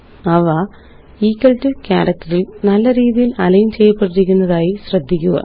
അവequal to ക്യാരക്റ്ററില് നല്ല രീതിയില് അലൈന് ചെയ്യപ്പെട്ടിരിക്കുന്നതായി ശ്രദ്ധിക്കുക